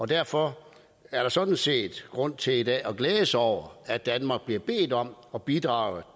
derfor er der sådan set grund til i dag at glæde sig over at danmark bliver bedt om at bidrage